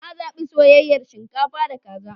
Na zaɓi soyayyar shinkafa da kaza.